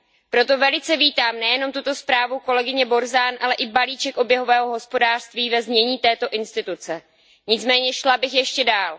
Proto velice vítám nejenom tuto zprávu kolegyně Borzanové, ale i balíček oběhového hospodářství ve znění této instituce. Nicméně šla bych ještě dál.